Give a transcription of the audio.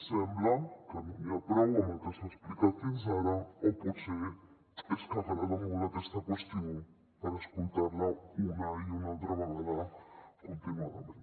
sembla que no n’hi ha prou amb el que s’ha explicat fins ara o potser és que agrada molt aquesta qüestió per escoltar la una i una altra vegada continuadament